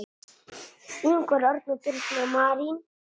Ingvar Örn og Birna Marín.